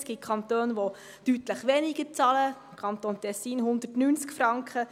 Es gibt Kantone, die deutlich weniger zahlen, der Kanton Tessin 190 Franken.